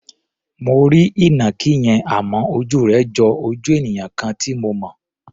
Mo rí ìnàkí yẹn, àmọ́ ojú rẹ̀ jo ojú ènìyàn kan tí mo mọ̀.